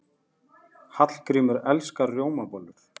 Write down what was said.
Hallgrímur elskar rjómabollur.